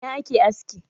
A Ina ake aski?